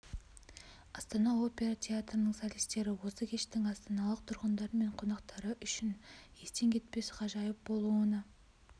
астана опера театрының солистері осы кештің астаналық тұрғындар мен қонақтары үшін естен кетпес ғажайып болуына